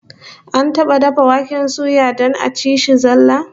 An taba dafa dafa waken suya don a ci shi zallah?